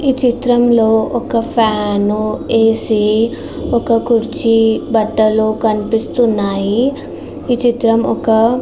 ఈ చిత్రంలో ఒక ఫ్యాను ఏ.సి. ఒక కుర్చీ బట్టలు కనిపిస్తున్నాయి. ఈ చిత్రం ఒక --